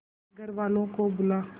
अपने घर वालों को बुला